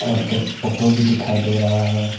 और एक फोटो भी दिखाई दे रहा है।